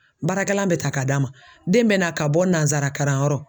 Baarakɛla bɛ ta ka d'a ma den bɛ na ka bɔ karan yɔrɔ